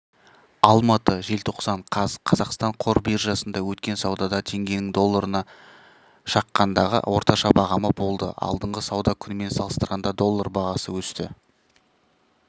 алматы желтоқсан қаз қазақстан қор биржасында өткен саудада теңгенің долларына шаққандағы орташа бағамы болды алдыңғы сауда күнімен салыстырғанда доллар бағасы өсті